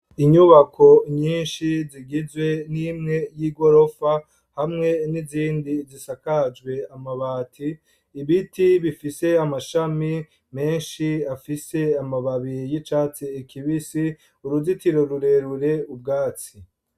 Inyubako nyinshi zigizwe n'imwe y'igorofa hamwe n'izindi zisakajwe amabati, ibiti bifise amashami menshi afise amababi y'icatsi kibisi, uruzitiro rurerure, ubwatsi.